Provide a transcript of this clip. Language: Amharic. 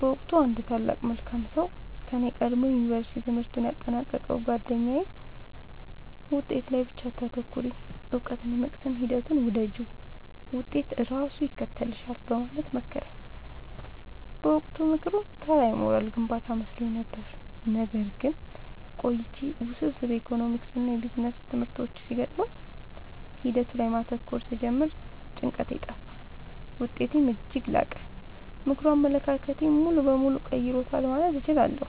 በወቅቱ አንድ ታላቅ መልካም ሰው ከኔ ቀድሞ የዩንቨርስቲ ትምህርቱን ያጠናቀቀው ጉአደኛዬ «ውጤት ላይ ብቻ አታተኩሪ: እውቀትን የመቅሰም ሂደቱን ውደጂው፣ ውጤት ራሱ ይከተልሻል» በማለት መከረኝ። በወቅቱ ምክሩ ተራ የሞራል ግንባታ መስሎኝ ነበር። ነገር ግን ቆይቼ ውስብስብ የኢኮኖሚክስና ቢዝነስ ትምህርቶች ሲገጥሙኝ ሂደቱ ላይ ማተኮር ስጀምር ጭንቀቴ ጠፋ: ውጤቴም እጅግ ላቀ። ምክሩ አመለካከቴን ሙሉ በሙሉ ቀይሮታል ማለት እችላለሁ።